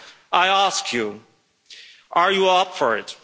I ask you are you up for it?